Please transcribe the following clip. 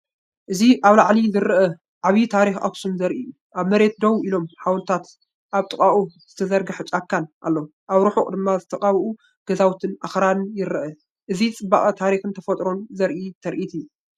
እዚ ካብ ላዕሊ ዝርአ ዓቢ ታሪኽ ኣኽሱም ዘርኢ እዩ። ኣብ መሬት ደው ኢሎም ሓወልትታትን ኣብ ጥቓኡ ዝተዘርግሐ ጫካን ኣሎ። ኣብ ርሑቕ ድማ ዝተቐብኡ ገዛውትን ኣኽራንን ይርአ። እዚ ጽባቐ ታሪኽን ተፈጥሮን ዘርኢ ትርኢት እዩ።